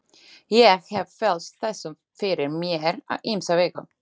Ég hef velt þessu fyrir mér á ýmsa vegu.